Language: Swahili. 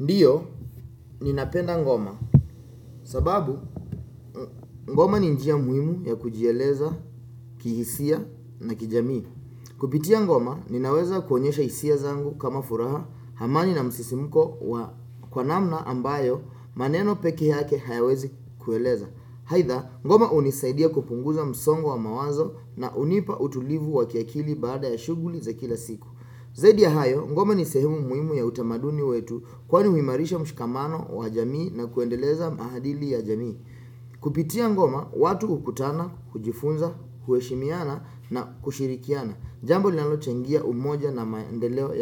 Ndiyo, ninapenda ngoma. Sababu, ngoma ni njia muhimu ya kujieleza kihisia na kijamii. Kupitia ngoma, ninaweza kuonyesha hisia zangu kama furaha, amani na msisimuko wa kwa namna ambayo maneno pekee yake hayawezi kueleza. Aidha, ngoma hunisaidia kupunguza msongo wa mawazo na hunipa utulivu wa kiakili baada ya shuguli za kila siku. Zaidi ya hayo, ngoma ni sehemu muhimu ya utamaduni wetu kwani huimarisha mshikamano wa jamii na kuendeleza maadili ya jamii. Kupitia ngoma, watu hukutana, kujifunza, kueshimiana na kushirikiana. Jambo linalochangia umoja na maendeleo